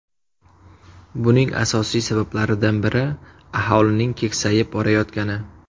Buning asosiy sabablaridan biri aholining keksayib borayotgani.